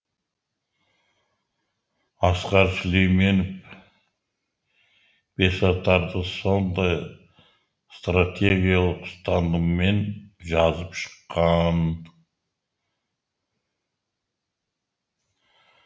асқар сүлейменов бесатарды сондай стратегиялық ұстаныммен жазып шыққан